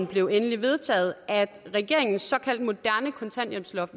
blev endeligt vedtaget at regeringens såkaldte moderne kontanthjælpsloft